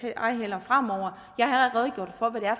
ej heller fremover jeg har redegjort